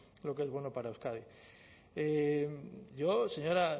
lo que es bueno para euskadi yo señora